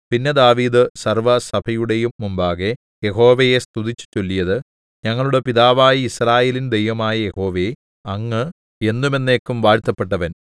പിന്നെ ദാവീദ് സർവ്വസഭയുടെയും മുമ്പാകെ യഹോവയെ സ്തുതിച്ചു ചൊല്ലിയത് ഞങ്ങളുടെ പിതാവായ യിസ്രായേലിൻ ദൈവമായ യഹോവേ അങ്ങ് എന്നും എന്നേക്കും വാഴ്ത്തപ്പെട്ടവൻ